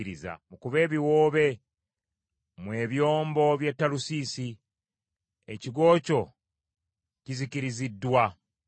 Mukube ebiwoobe mmwe ebyombo by’e Talusiisi, ekigo kyo kizikiriziddwa.